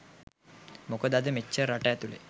මොකද අද මෙච්චර රට ඇතුලේ